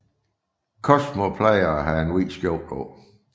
Cosmo plejer at have en hvid skjorte på